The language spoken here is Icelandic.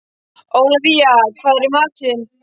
Ólafía, hvað er í matinn?